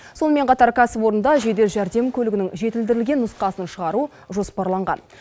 сонымен қатар кәсіпорында жедел жәрдем көлігінің жетілдірілген нұсқасын шығару жоспарланған